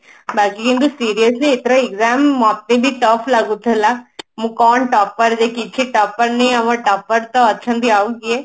ବାକି ଯେମତି seriously ଏଥର exam ମତେ ବି though ଲାଗୁଥିଲା ମୁଁ କଣ ଯେ topper କିଛି topper ନାଇଁ ଆମ topper ତ ଅଛନ୍ତି ଆଉ କିଏ